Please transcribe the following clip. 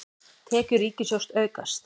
Tekjur ríkissjóðs aukast